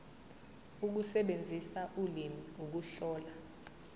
ukusebenzisa ulimi ukuhlola